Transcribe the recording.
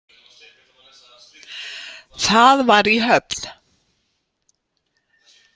Það var í Höfn.